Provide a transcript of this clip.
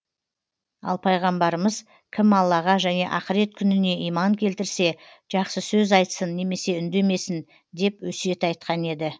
ал пайғамбарымыз кім аллаға және ақырет күніне иман келтірсе жақсы сөз айтсын немесе үндемесін деп өсиет айтқан еді